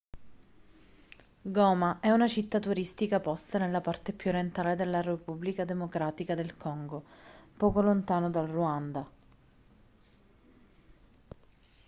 goma è una città turistica posta nella parte più orientale della repubblica democratica del congo poco lontano dal ruanda